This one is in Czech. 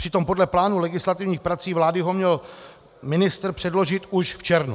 Přitom podle plánu legislativních prací vlády ho měl ministr předložit už v červnu.